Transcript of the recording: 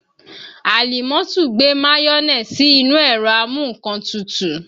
Àlímọ́tù gbé mayonẹ sí inú ẹ̀rọ a mú nǹkan tutù